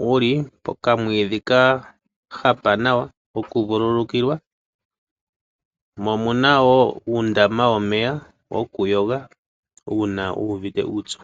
Ohamu kala wo muna okamwiidhi kahapa nawa noshowo uundama mono omuntu ta vulu oku kayoge uuna uvite uupyu.